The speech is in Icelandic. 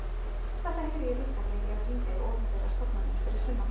Þetta heyri ég líka þegar ég er að hringja í opinberar stofnanir fyrir sunnan.